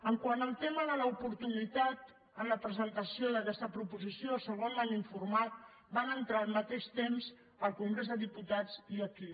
quant al tema de l’oportunitat en la presentació d’aquesta proposició segons m’han informat van entrar al mateix temps al congrés dels diputats i aquí